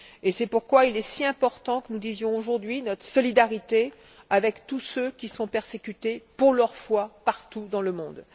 C'est pourquoi il est si important que nous disions aujourd'hui notre solidarité avec tous ceux qui sont persécutés pour leur foi partout dans le monde.